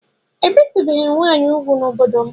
Ébétùbèghi nwanyi úgwú n'obodo m